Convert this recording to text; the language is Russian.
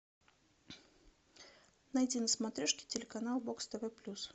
найди на смотрешке телеканал бокс тв плюс